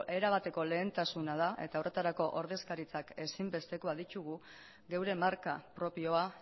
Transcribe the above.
erabateko lehentasuna da eta horretarako ordezkaritzak ezinbestekoak ditugu geure marka propioa